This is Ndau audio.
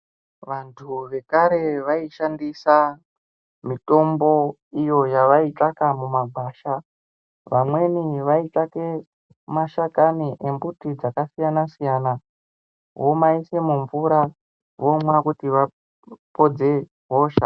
Vantu vekare vaishandise mitombo iyo yavaitsvake mumagwasha vamweni vaitsvake mashakani embuti dzakasiyanasiyana vomaise mumvura vomwa kuti vapodze hosha.